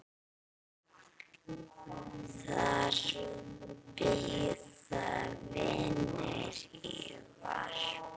Þar bíða vinir í varpa.